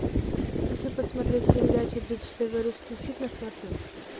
хочу посмотреть передачу бридж тв русский хит на смотрешке